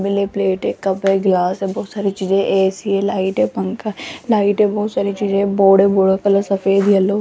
नीले प्लेट है कप है ग्लास है बहुत सारी चीजे है ए_सी है लाइट है पंखा है लाइट है बहुत सारी चीजे हैं बोर्ड है बोर्ड का कलर सफेद येलो --